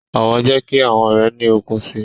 Ọwọ jẹ ki awọn ọrẹ ni òkun síi